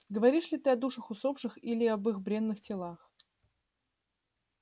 говоришь ли ты о душах усопших или об их бренных телах